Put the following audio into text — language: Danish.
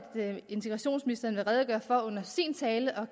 integrationsministeren vil redegøre for det under sin tale og